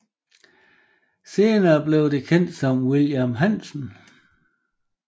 Senere blev det kendt som Wilhelm Hansen